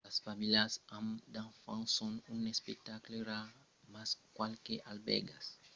las familhas amb d’enfants son un espectacle rar mas qualques albèrgas los accèptan dins de cambras privadas